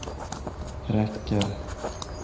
räcker